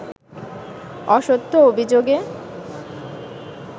অসত্য অভিযোগে